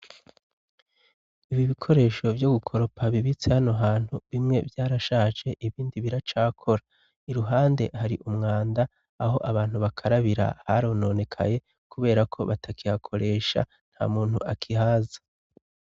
Ibi bikoresho vyo gukoropa bibitse hano hantu bimwe vyarashaje ibindi biracakora, iruhande hari umwanda aho abantu bakarabira harononekaye kubera ko batakiyakoresha nta muntu akihaza.